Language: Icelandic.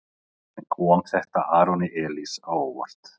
En kom þetta Aroni Elís á óvart?